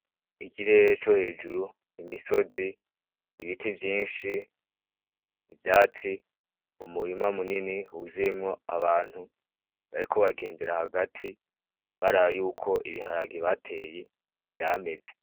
Ikirere co hejuru, imisozi, ibiti vyinshi ,ivyatsi, umurima munini wuzuyemwo abantu bariko bagendera hagati baraba yuko ibiharage bateye, vyameze.